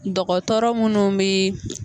Dɔgɔtɔrɔ munnu bi